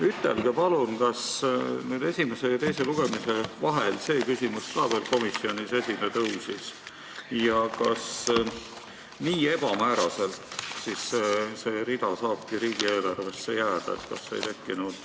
Ütelge palun, kas esimese ja teise lugemise vahel see küsimus ka veel komisjonis esile tõusis ja kas nii ebamääraselt see rida saabki riigieelarvesse jääda!